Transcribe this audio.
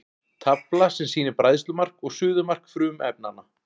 Tafla sem sýnir bræðslumark og suðumark frumefnanna.